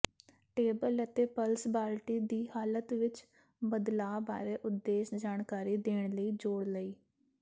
table ਅਤੇ plus ਬਾਲਟੀ ਦੀ ਹਾਲਤ ਵਿਚ ਬਦਲਾਅ ਬਾਰੇ ਉਦੇਸ਼ ਜਾਣਕਾਰੀ ਦੇਣ ਲਈ ਜੋੜ ਲਈ